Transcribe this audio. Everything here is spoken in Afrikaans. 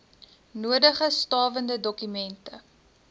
nodige stawende dokumente